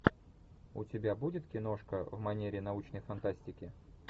у тебя будет киношка в манере научной фантастики